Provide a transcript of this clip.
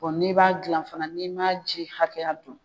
n'i b'a dilan fana n'i m'a ji hakɛya dɔn.